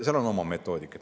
Seal on oma metoodika.